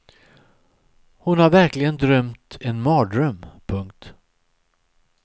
Hon har verkligen drömt en mardröm. punkt